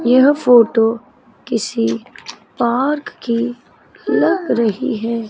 यह फोटो किसी पार्क की लग रही है।